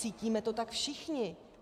Cítíme to tak všichni.